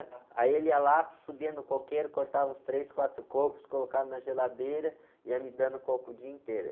Aí ele ia lá, subia no coqueiro, cortava uns três, quatro cocos, colocava na geladeira e ia me dando coco o dia inteiro.